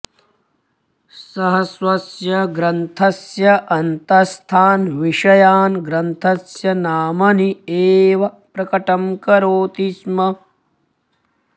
सः स्वस्य ग्रन्थस्य अन्तःस्थान् विषयान् ग्रन्थस्य नामनि एव प्रकटं करोति स्म